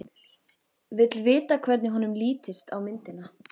Vill vita hvernig honum lítist á myndina.